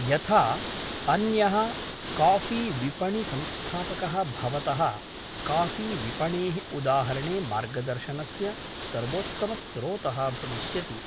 यथा, अन्यः कॉफीविपणिसंस्थापकः भवतः कॉफीविपणेः उदाहरणे मार्गदर्शनस्य सर्वोत्तमस्रोतः भविष्यति,